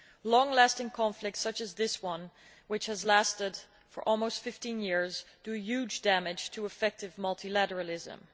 Long lasting conflicts such as this one, which has lasted for almost 15 years, do huge damage to effective multilateralism.